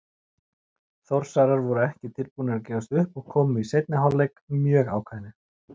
Þórsarar voru ekki tilbúnir að gefast upp og komu í seinni hálfleik mjög ákveðnir.